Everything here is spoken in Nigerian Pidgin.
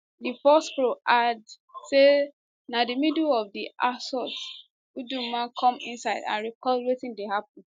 di force pro add say na for di middle of di assault uduma come inside and record wetin dey happun